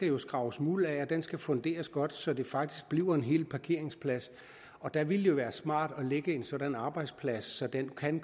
jo skrabes muld af og den skal funderes godt så den faktisk bliver en hel parkeringsplads og der ville det være smart at lægge en sådan arbejdsplads så den kan